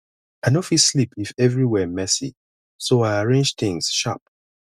i no fit sleep if everywhere messy so i arrange things sharp